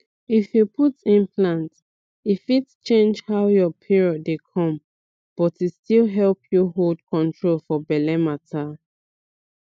if you put implant e fit change how your period dey come but e still help you hold control for belle matter